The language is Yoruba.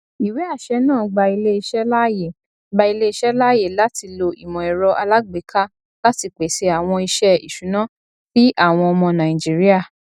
ìwéàṣẹ náà gba iléiṣẹ láàyè gba iléiṣẹ láàyè láti ló ìmọẹrọ alágbèéka láti pèsè àwọn iṣẹ ìṣùná sí àwọn ọmọ nàìjíríà